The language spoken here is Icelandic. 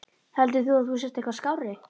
Heldur þú að þú sért eitthvað skárri?